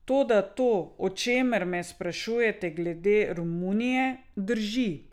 Toda to, o čemer me sprašujete glede Romunije, drži.